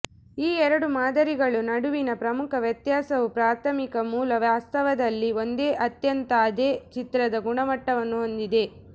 ಈ ಎರಡು ಮಾದರಿಗಳು ನಡುವಿನ ಪ್ರಮುಖ ವ್ಯತ್ಯಾಸವು ಪ್ರಾಥಮಿಕ ಮೂಲ ವಾಸ್ತವದಲ್ಲಿ ಒಂದೇ ಅತ್ಯಂತ ಅದೇ ಚಿತ್ರದ ಗುಣಮಟ್ಟವನ್ನು ಹೊಂದಿದೆ